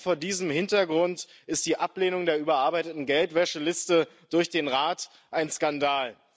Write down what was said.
Und allein vor diesem Hintergrund ist die Ablehnung der überarbeiteten Geldwäscheliste durch den Rat ein Skandal.